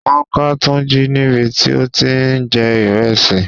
Wọ́n ká Tunji níbi tí ó ti ń jí ìrẹsì.